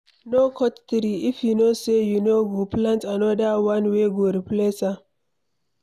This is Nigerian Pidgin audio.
No cut tree, if you know say you no go plant another one wey go replace am